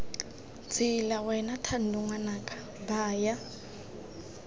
tsela wena thando ngwanaka baya